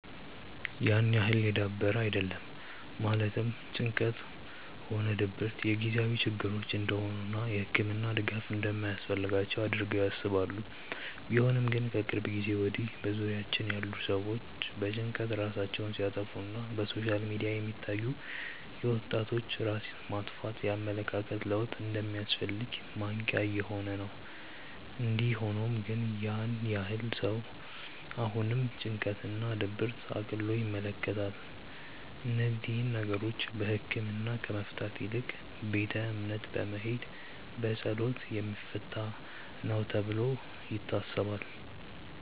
ያን ያህል የዳበረ አይደለም ማለትም ጭንቀትም ሆነ ድብረት የጊዜያዊ ችግሮች እንደሆኑ እና የህክምና ድጋፍ እንደማያስፈልጋቸው አድርገው ያስባሉ። ቢሆንም ግን ከቅርብ ጊዜ ወድያ በዙሪያችን ያሉ ሰዎች በጭንቀት ራሳቸውን ሲያጠፋ እና በሶሻል ሚዲያ የሚታዩ የወጣቶች ራስ ማጥፋት የኣመለካከት ለውጥ እንደሚያስፈልግ ማንቅያ እየሆነ ነው። እንዲ ሆኖም ግን ያን ያህል ነው ሰው አሁንም ጭንቀት እና ድብርትን እቅሎ ይመለከታል። እነዚህን ነገሮች በህክምና ከመፍታት ይልቅ ቤተ እምነት በመሄድ በፀሎት የሚፈታ ነው ተብሎ ይታሰባል።